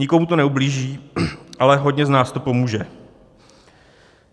Nikomu to neublíží, ale hodně z nás to pomůže.